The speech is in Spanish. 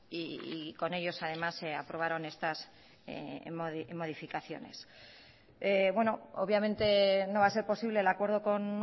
y con ellos además se aprobaron estas modificaciones obviamente no va a ser posible el acuerdo con